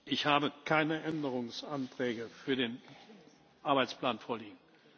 Woche. Ich habe keine Änderungsanträge für den Arbeitsplan vorliegen.